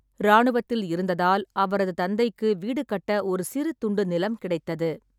இராணுவத்தில் இருந்ததால் அவரது தந்தைக்கு வீடு கட்ட ஒரு சிறு துண்டு நிலம் கிடைத்தது.